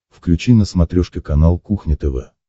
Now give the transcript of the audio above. включи на смотрешке канал кухня тв